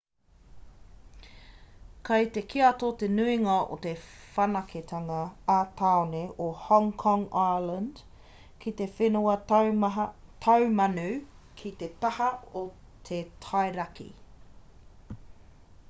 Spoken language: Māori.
kei te kiato te nuinga o te whanaketanga ā-tāone o hong kong island ki te whenua taumanu ki te taha o te tai raki